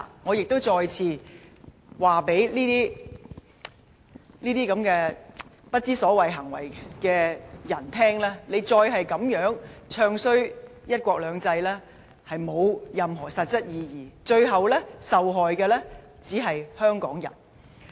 我亦再次對這些不知所謂的人說，再這樣"唱衰""一國兩制"，並無任何實質意義，最後受害的只是香港人。